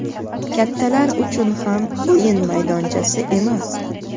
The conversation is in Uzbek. kattalar uchun ham o‘yin maydonchasi emas.